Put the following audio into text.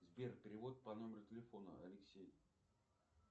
сбер перевод по номеру телефона алексей